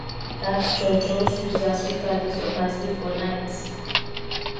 dat church just use their speaker disturb my sleep for night